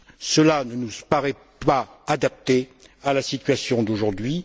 Cela ne nous paraît pas adapté à la situation d'aujourd'hui.